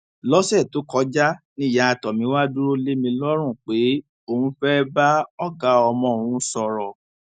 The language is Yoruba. lọsẹ tó kọjá níyà tomiwa dúró lé mi lọrùn pé òun fẹẹ bá ọgá ọmọ òun sọrọ